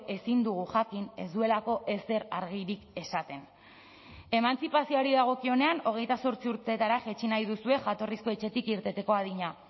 ezin dugu jakin ez duelako ezer argirik esaten emantzipazioari dagokionean hogeita zortzi urtetara jaitsi nahi duzue jatorrizko etxetik irteteko adina